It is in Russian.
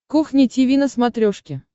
кухня тиви на смотрешке